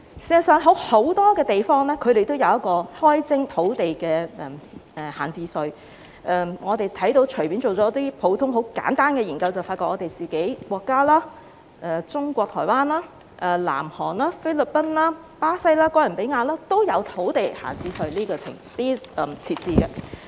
事實上，很多地方也有開徵土地閒置稅，我們隨便進行一些普通、簡單的研究便會發現，我們的國家、中國台灣、南韓、菲律賓、巴西、哥倫比亞均有設置土地閒置稅。